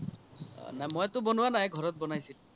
নাই মইতো বনোৱা নাই ঘৰত বনাইছিল